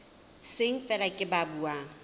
seng feela ke ba buang